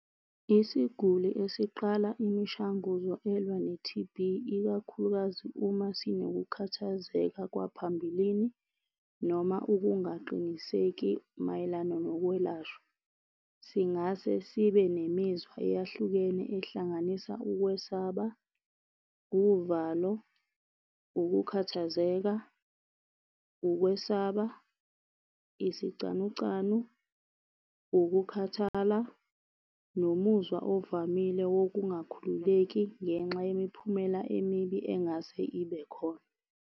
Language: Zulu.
Isiguli esiqala imishanguzo elwa ne-T_B ikakhulukazi uma sinokukhathazeka kwaphambilini noma ukungaqiniseki mayelana nokwelashwa. Singase sibe nemizwa eyahlukene ehlanganisa ukwesaba, wuvalo, ukukhathazeka, ukwesaba, isicanucanu, ukukhathala nomuzwa ovamile wokungakhululeki ngenxa yemiphumela emibi engase ibe khona.